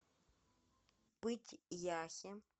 пыть яхе